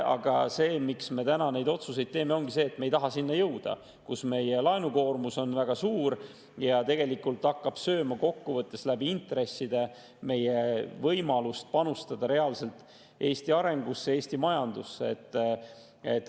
Aga põhjus, miks me täna neid otsuseid teeme, ongi see, et me ei taha jõuda sinna, kus meie laenukoormus on väga suur ja hakkab kokkuvõttes intresside kaudu sööma meie võimalust panustada reaalselt Eesti arengusse, Eesti majandusse.